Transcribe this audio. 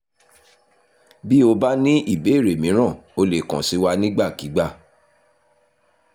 bí o bá ní ìbéèrè míràn o lè kàn sí wa nígbàkigbà